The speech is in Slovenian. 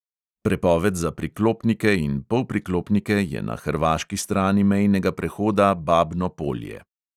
Prepoved za priklopnike in polpriklopnike je na hrvaški strani mejnega prehoda babno polje.